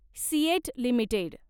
CEAT limited